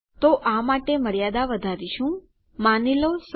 તો આ માટે મર્યાદા વધારીશું માની લો 100